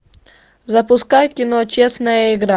запускай кино честная игра